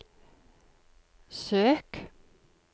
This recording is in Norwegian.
søk